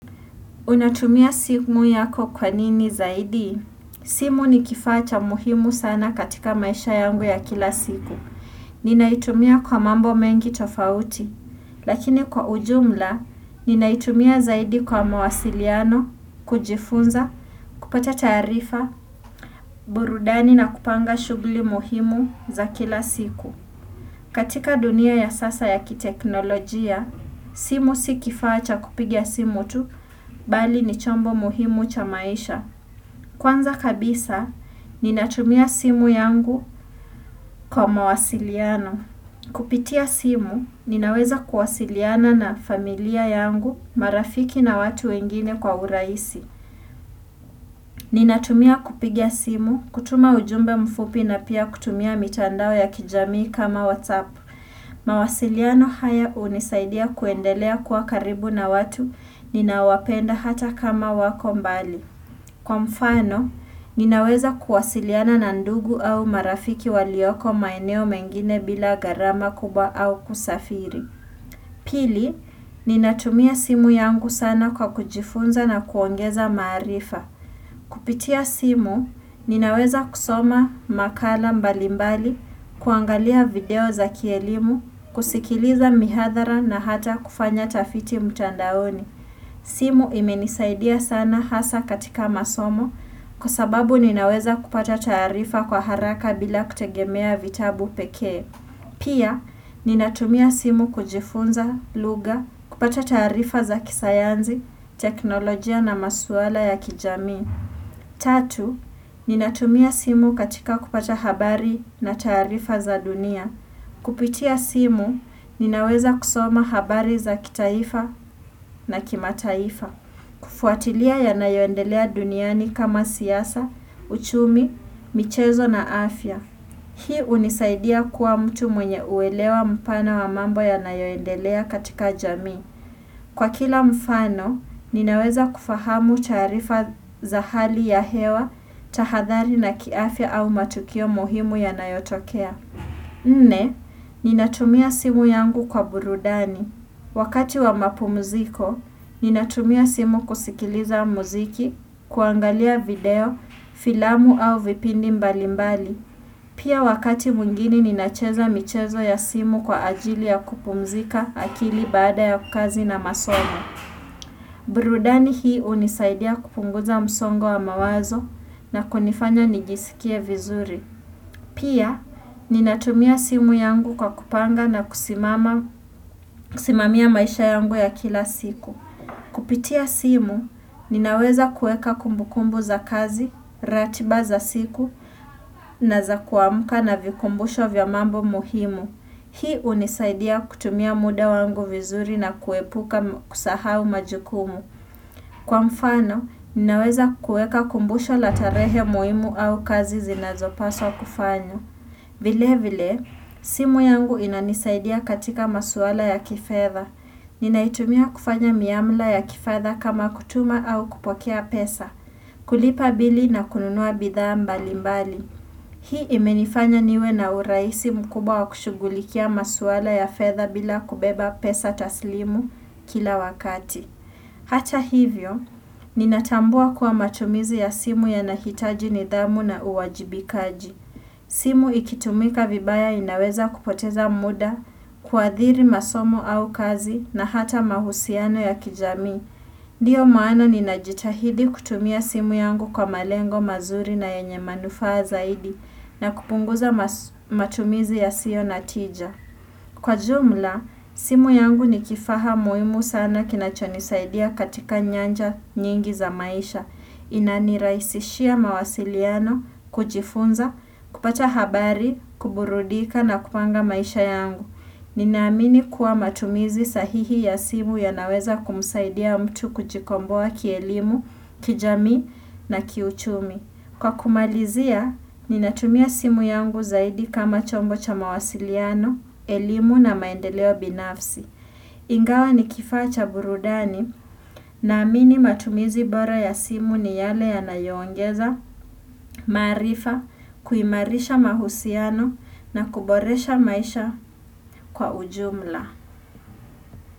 Unatumia simu yako kwa nini zaidi? Simu ni kifaa cha muhimu sana katika maisha yangu ya kila siku. Ninaitumia kwa mambo mengi tofauti, lakini kwa ujumla, ninaitumia zaidi kwa mawasiliano, kujifunza, kupata taarifa, burudani na kupanga shugli muhimu za kila siku. Katika dunia ya sasa ya kiteknolojia, simu si kifaa cha kupigia simu tu, bali ni chombo muhimu cha maisha. Kwanza kabisa, ninatumia simu yangu kwa mawasiliano. Kupitia simu, ninaweza kuwasiliana na familia yangu, marafiki na watu wengine kwa uraisi. Ninatumia kupiga simu, kutuma ujumbe mfupi na pia kutumia mitandao ya kijamii kama WhatsApp. Mawasiliano haya unisaidia kuendelea kuwa karibu na watu ninawapenda hata kama wako mbali. Kwa mfano, ninaweza kuwasiliana na ndugu au marafiki walioko maeneo mengine bila gharama kubwa au kusafiri. Pili, ninatumia simu yangu sana kwa kujifunza na kuongeza marifa. Kupitia simu, ninaweza kusoma makala mbalimbali, kuangalia video za kielimu, kusikiliza mihadhara na hata kufanya tafiti mtandaoni. Simu imenisaidia sana hasa katika masomo kwa sababu ninaweza kupata taarifa kwa haraka bila kutegemea vitabu pekee. Pia, ninatumia simu kujifunza, lugha, kupata taarifa za kisayanzi, teknolojia na maswala ya kijamii. Tatu, ninatumia simu katika kupata habari na tarifa za dunia. Kupitia simu, ninaweza kusoma habari za kitaifa na kimataifa. Kufuatilia yanayoendelea duniani kama siyasa, uchumi, michezo na afya. Hii unisaidia kuwa mtu mwenye uelewa mpana wa mambo yanayoendelea katika jamii. Kwa kila mfano, ninaweza kufahamu taarifa za hali ya hewa, tahadhari na kiafya au matukio muhimu ya nayotokea. Nne, ninatumia simu yangu kwa burudani. Wakati wa mapumuziko, ninatumia simu kusikiliza muziki, kuangalia video, filamu au vipindi mbalimbali. Pia wakati mwingine ninacheza michezo ya simu kwa ajili ya kupumzika akili baada ya kazi na masomo. Burudani hii unisaidia kupunguza msongo wa mawazo na kunifanya nijisikie vizuri. Pia ninatumia simu yangu kwa kupanga na kusimamia maisha yangu ya kila siku. Kupitia simu, ninaweza kueka kumbukumbu za kazi, ratiba za siku, na za kuamuka na vikumbusho vya mambo muhimu. Hii unisaidia kutumia muda wangu vizuri na kuepuka kusahau majukumu. Kwa mfano, ninaweza kueka kumbusho la tarehe muhimu au kazi zinazopaswa kufanywa. Vile vile, simu yangu inanisaidia katika masuala ya kifedha. Ninaitumia kufanya miamla ya kifedha kama kutuma au kupokea pesa, kulipa bili na kununua bidhaa mbali mbali. Hii imenifanya niwe na uraisi mkubwa wa kushugulikia maswala ya fedha bila kubeba pesa taslimu kila wakati. Hata hivyo, ninatambua kuwa matumizi ya simu yanahitaji nidhamu na uwajibikaji. Simu ikitumika vibaya inaweza kupoteza muda, kuadhiri masomo au kazi na hata mahusiano ya kijamii. Ndiyo maana ninajitahidi kutumia simu yangu kwa malengo mazuri na yenye manufaa zaidi na kupunguza matumizi yasio na tija. Kwa jumla, simu yangu ni kifaha muimu sana kinachonisaidia katika nyanja nyingi za maisha. Inaniraisishia mawasiliano, kujifunza, kupata habari, kuburudika na kupanga maisha yangu Ninaamini kuwa matumizi sahihi ya simu yanaweza kumsaidia mtu kujikomboa kielimu, kijamii na kiuchumi Kwa kumalizia, ninatumia simu yangu zaidi kama chombo cha mawasiliano, elimu na maendeleo binafsi Ingawa ni kifaa cha burudani naamini matumizi bora ya simu ni yale yanayoongeza, maarifa, kuimarisha mahusiano na kuboresha maisha kwa ujumla.